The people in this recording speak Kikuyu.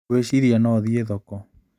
Ngwĩciria no thiĩ thoko.